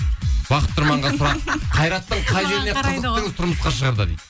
бақыт тұрманға сұрақ қайраттың қай жеріне қызықтыңыз тұрмысқа шығарда дейді